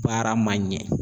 Baara ma ɲɛ